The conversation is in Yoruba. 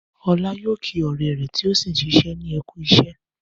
Ọlá yóò kí ọ̀rẹ́ rẹ̀ tó ṣì ń ṣiṣẹ́ ní Ẹ kú iṣẹ́.